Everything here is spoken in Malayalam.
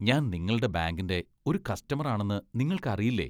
ഞാൻ നിങ്ങളുടെ ബാങ്കിന്റെ ഒരു കസ്റ്റമർ ആണെന്ന് നിങ്ങൾക്കറിയില്ലേ?